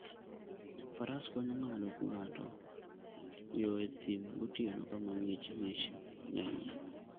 Faras konyo ng'ato ng'ado yo e thim gotieno, kama ng'ich ng'ich ng'enyie.